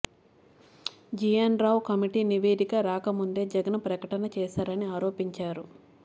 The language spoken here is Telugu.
జీఎన్ రావు కమిటీ నివేదిక రాకముందే జగన్ ప్రకటన చేశారని ఆరోపించారు